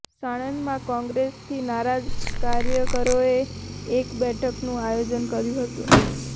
સાણંદમાં કોંગ્રેસથી નારાજ કાર્યકરોએ એક બેઠકનું આયોજન કર્યું હતું